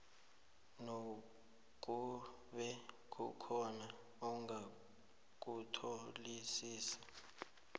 nakube kukhona ongakutholisisi